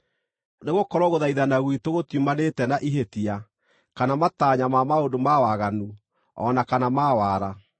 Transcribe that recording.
Nĩgũkorwo gũthaithana gwitũ gũtiumanĩte na ihĩtia, kana matanya ma maũndũ ma waganu, o na kana ma wara.